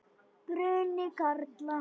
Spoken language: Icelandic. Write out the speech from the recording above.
Bruni karla.